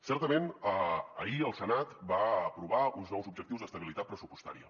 certament ahir el senat va aprovar uns nous objectius d’estabilitat pressupostària